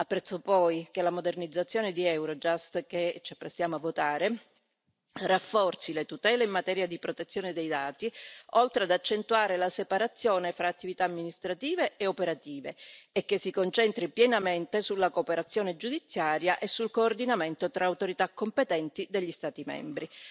Apprezzo poi che la modernizzazione di Eurojust, che ci apprestiamo a votare, rafforzi le tutele in materia di protezione dei dati, oltre ad accentuare la separazione fra attività amministrative e operative, e che si concentri pienamente sulla cooperazione giudiziaria e sul coordinamento tra autorità competenti degli Stati membri.